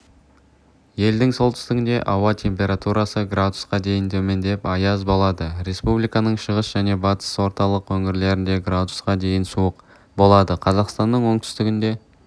елдің солтүстігінде ауа температрасы градусқа дейін төмендеп аяз болады республиканың шығыс және батыс орталық өңірлерінде градусқа дейін суық болады қазақстанның оңтүстігінде